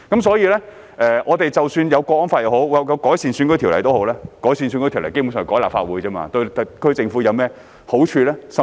所以，即使已訂立《香港國安法》和改善選舉制度，但基本上修改立法會選舉制度對特區政府有何好處？